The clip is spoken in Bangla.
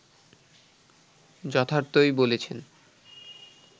যথার্থই বলেছেন